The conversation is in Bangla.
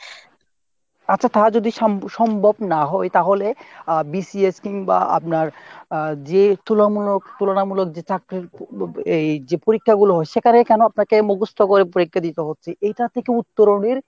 আচ্ছা তা যদি সম্ভ~ সম্ভব না হয় তাহলে BCS কিংবা আপনার যে তুলামূলক তুলনামূলক যে চাকরির এই যে পরীক্ষাগুলো হয় সেখানে কোনো আপনাকে মুখস্ত করে পরীক্ষা দিতে হচ্ছে এইটার থেকে উত্তরণের